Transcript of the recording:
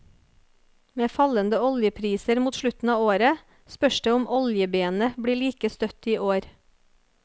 Med fallende oljepriser mot slutten av året, spørs det om oljebenet blir like støtt i år.